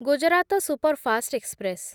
Gujarat superfast express